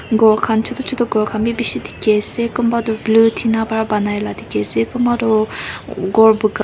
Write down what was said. ghor khan chutu chutu ghor khan b bishi dikhi ase kumba tu blue tina para banai na dikhi ase kumba tu ghor buga--